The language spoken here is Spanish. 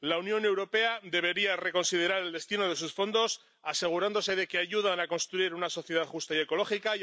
La Unión Europea debería reconsiderar el destino de sus fondos, asegurándose de que ayudan a construir una sociedad justa y ecológica.